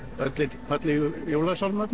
fallegu